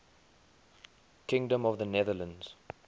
kingdom of the netherlands